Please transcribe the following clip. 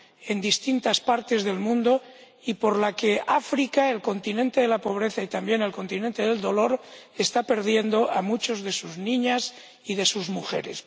en distintas partes del mundo y por la que África —el continente de la pobreza y también el continente del dolor— está perdiendo a muchas de sus niñas y de sus mujeres.